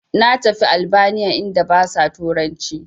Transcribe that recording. Na tafi albaniya inda basa turanci